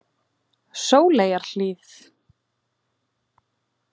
Sóleyjarhlíð